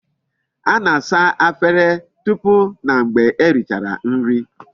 A na-asa Efere tupu na mgbe e richara nri